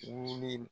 Wuli